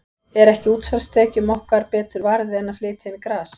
Er ekki útsvarstekjunum okkar betur varið en að flytja inn gras?